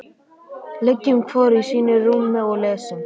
Liggjum hvor í sínu rúmi og lesum.